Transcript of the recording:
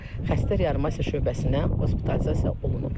Xəstə reanimasiya şöbəsinə hospitalizasiya olunub.